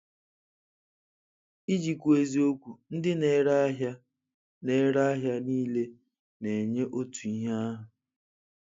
Iji kwuo eziokwu, ndị na-ere ahịa na-ere ahịa niile na-enye otu ihe ahụ.